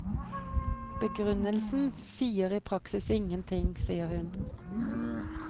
Begrunnelsen sier i praksis ingen ting, sier hun.